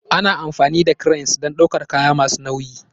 Ana amfani da cranes don ɗaukar kaya masu nauyi